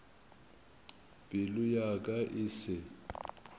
pelo ya ka e se